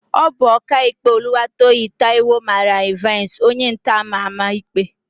Ọ bụ Ọkaikpe Oluwatoyin Taiwo mara Ịvansị, onyentọ ama ama ikpe.